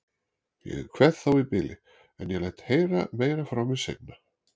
Ég kveð þá í bili, en ég læt heyra meira frá mér seinna.